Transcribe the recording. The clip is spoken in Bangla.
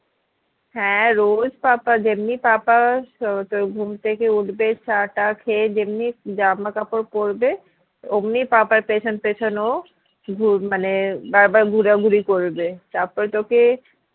হ্যাঁ রোজ papa যেমনি papa ও তোর ঘুম থেকে উঠবে চা টা খেয়ে যেমনি জামাকাপড় পড়বে অমনি papa র পেছন পেছন ও ঘু~ মানে বারবার ঘুরাঘুরি করবে তারপরে তোকে